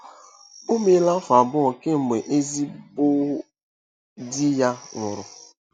O meela afọ abụọ kemgbe ezigbo di ya nwụrụ.